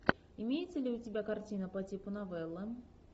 имеется ли у тебя картина по типу новелла